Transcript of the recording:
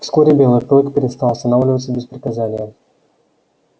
вскоре белый клык перестал останавливаться без приказания